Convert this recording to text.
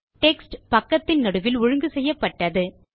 text பக்கத்தின் நடுவில் ஒழுங்கு செய்யப்பட்டது